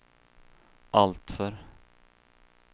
alltför